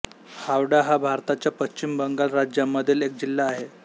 हावडा हा भारताच्या पश्चिम बंगाल राज्यामधील एक जिल्हा आहे